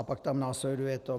A pak tam následuje to...